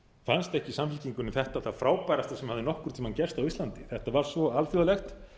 fannst ekki samfylkingunni þetta það frábærasta sem hafði nokkurn tíma gerst á íslandi þetta var svo alþjóðlegt